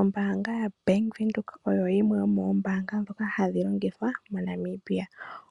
Ombaanga ya (Bank Windhoek) oyo yimwe yo moombaanga ndhoka ha dhi longithwa MoNamibia.